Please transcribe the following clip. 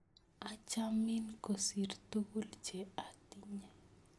Achamin kosir tukul che atinye